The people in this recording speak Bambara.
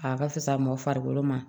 A ka fisa mɔn farikolo ma